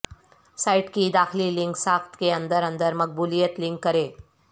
site کی داخلی link ساخت کے اندر اندر مقبولیت لنک کریں